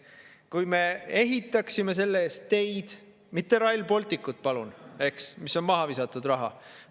Kui me ehitaksime selle eest teid – mitte Rail Balticut, palun, eks, mis on maha visatud raha!